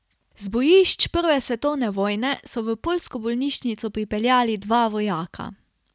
Z bojišč prve svetovne vojne so v poljsko bolnišnico pripeljali dva vojaka.